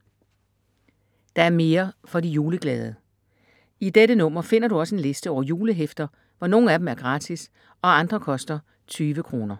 Der er mere for de juleglade. I dette nummer finder du også en liste over julehæfter, hvor nogle af dem er gratis og andre koster 20 kr.